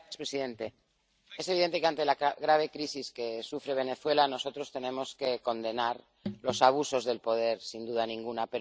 Señor presidente, es evidente que ante la grave crisis que sufre Venezuela, nosotros tenemos que condenar los abusos de poder, sin duda ninguna.